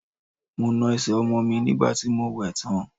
Mo na ẹsẹ̀ ọmọ mi nígbà tí mo wẹ̀ ẹ́ tán.